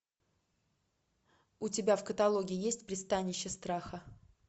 у тебя в каталоге есть пристанище страха